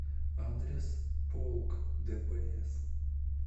адрес полк дпс